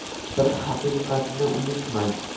Bir haqiqatni unutmang!